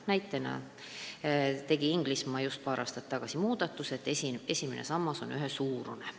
Näiteks Inglismaa muutis paar aastat tagasi esimese samba ühesuuruseks.